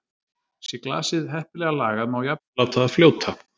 Sé glasið heppilega lagað má jafnvel láta það fljóta.